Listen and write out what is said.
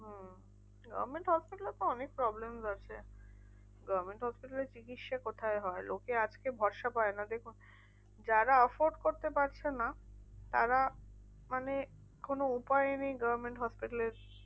Government hospital এ তো অনেক problem ই রয়েছে। government hospital এ চিকিৎসা কোথায় হয়? লোকে আজকে ভরসা পায় না। দেখুন যারা effort করতে পারছে না, তারা মানে কোনো উপায় নেই government hospital এর